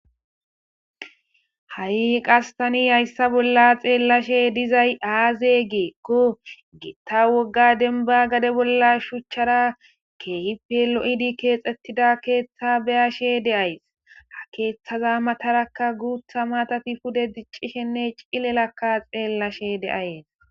Ha,i qastani hayssa bolla xeellashe dizay aaze geekko gitta wogga denba gade bolla shuchchara keehife lo7idi keexxettida keeththa beyashe deays ha keeththaza matarakka guutha matafi pude diccishenne cilelakka xeellashe deayes